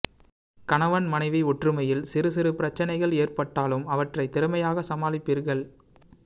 கணவன் மனைவி ஒற்றுமையில் சிறுசிறு பிரச்சினைகள் ஏற்பட்டாலும் அவற்றை திறமையாக சமாளிப்பீர்கள்